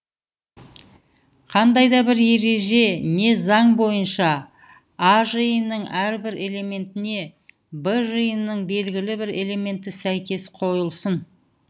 қандай да бір ереже не заң бойынша а жиынының әрбір элементіне в жиынының белгілі бір элементі сәйкес қойылсын